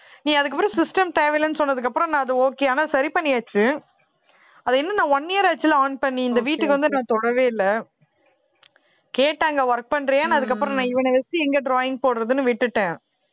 நீ அதுக்கு அப்புறம் system தேவையில்லைன்னு சொன்னதுக்கு அப்புறம் நான் அது okay ஆனால் சரி பண்ணியாச்சு அதை இன்னும் நான் one year ஆச்சுல on பண்ணி இந்த வீட்டுக்கு வந்து நான் தொடவே இல்லை கேட்டாங்க work பண்றயான்னு அதுக்கப்புறம் நான் இவனை வச்சு எங்க drawing போடுறதுன்னு விட்டுட்டேன்